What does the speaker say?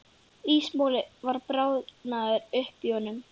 Ísmolinn var bráðnaður upp í honum.